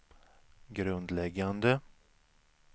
grundläggande